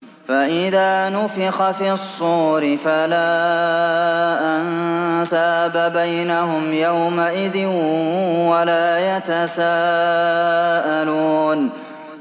فَإِذَا نُفِخَ فِي الصُّورِ فَلَا أَنسَابَ بَيْنَهُمْ يَوْمَئِذٍ وَلَا يَتَسَاءَلُونَ